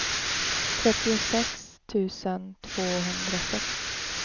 trettiosex tusen tvåhundrasex